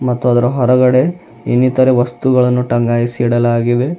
ಮತ್ತು ಅದರ ಹೊರಗಡೆ ಇನ್ನಿತರ ವಸ್ತುಗಳನ್ನು ಟಂಗಾಯಿಸಿ ಇಡಲಾಗಿದೆ.